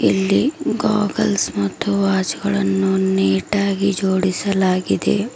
ಇಲ್ಲಿ ಗಾಗಲ್ಸ್ ಮತ್ತು ವಾಚ್ ಗಳನ್ನು ನೀಟಾ ಗಿ ಜೋಡಿಸಲಾಗಿದೆ.